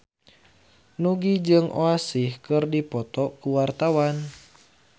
Nugie jeung Oasis keur dipoto ku wartawan